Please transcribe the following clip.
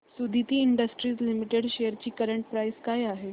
Suditi industries limited shares ची current price काय आहे